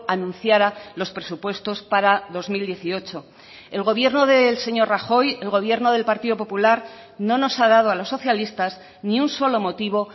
anunciara los presupuestos para dos mil dieciocho el gobierno del señor rajoy el gobierno del partido popular no nos ha dado a los socialistas ni un solo motivo